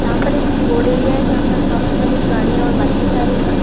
यहां पर एक रोड एरिया है जहां पर काफी सारी गाड़ियां और बाइकें जा रही हैं।